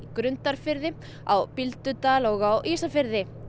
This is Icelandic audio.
Grundarfirði á Bíldudal og á Ísafirði